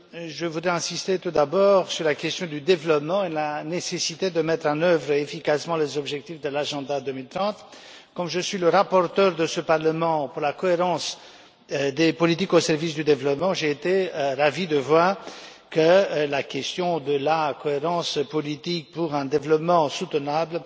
Je voudrais insister tout d'abord sur la question du développement et la nécessité de mettre en œuvre efficacement les objectifs de l'agenda 2030. Comme je suis le rapporteur du Parlement sur la cohérence des politiques au service du développement, j'ai été ravi de voir que la question de la cohérence politique pour un développement soutenable